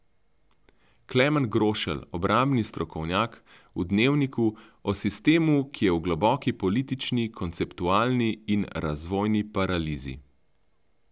Klemen Grošelj, obrambni strokovnjak, v Dnevniku, o sistemu, ki je v globoki politični, konceptualni in razvojni paralizi.